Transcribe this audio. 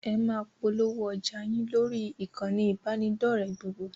Ẹ máa polówó ọjà yín lórí ìkànnì ìbánidọ́ọ̀rẹ́ gbogbo!